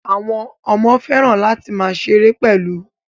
Àwọn ọmọ fẹ́ràn láti máa ṣeré pẹ̀lú